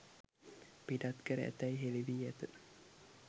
පිටත් කර ඇතැයි හෙළි වී ඇත.